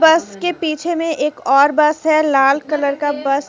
बस के पीछे में एक और बस है लाल कलर का बस।